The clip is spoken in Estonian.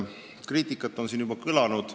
Kriitikat on siin juba kõlanud.